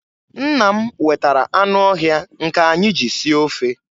Nna m wetara anụ ọhịa nke anyị ji sie ofe.